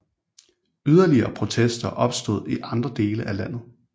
Yderligere protester opstod i andre dele af landet